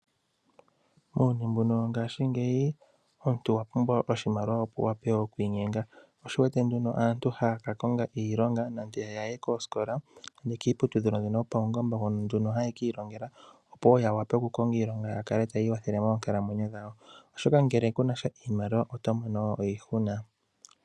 Muuyuni mbuno wo ngashingeyi, omuntu owa pumbwa oshimaliwa opo wu wape oku inyenga. Osho wu wete ndno aantu haya ka konga iilonga, nenge ya ye koosikola yo kiiputudhilo mbyono yo paungomba. Hono haya kiilongela opo ya wape ya konge iilonga ya kale taya ikwathele moonkalamwenyo dhawo. Oshoka ngele kuna sha iimaliwa oto mono iihuna.